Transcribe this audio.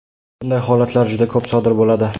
Bunday holatlar juda ko‘p sodir bo‘ladi.